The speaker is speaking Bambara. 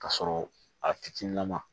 Ka sɔrɔ a fitininama